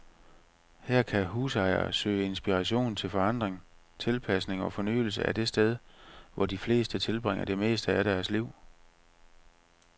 Her kan husejere søge inspiration til forandring, tilpasning og fornyelse af det sted, hvor de fleste tilbringer det meste af deres liv.